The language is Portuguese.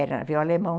Era alemão